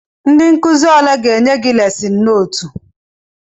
Ndị nkụzi ole ga-enye gị lesịn nootu?